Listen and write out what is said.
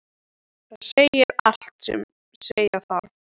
Það segir allt sem segja þarf.